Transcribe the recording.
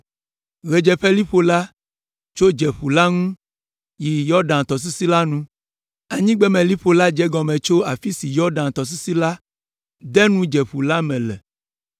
Ɣedzeƒeliƒo la tso Dzeƒu la ŋu yi Yɔdan tɔsisi la nu. Anyigbemeliƒo la dze egɔme tso afi si Yɔdan tɔsisi la de nu Dzeƒu la me le,